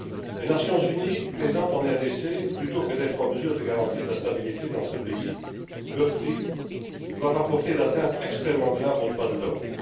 Les Nations unies présentes en RDC, plutôt que d'être en mesure de garantir la stabilité dans ce pays meurtri, doivent rapporter des atteintes extrêmement graves aux droits de l'homme.